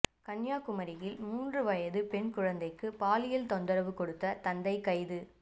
கன்னியாகுமரியில் மூன்று வயது பெண் குழந்தைக்கு பாலியல் தொந்தரவு கொடுத்த தந்தை கைது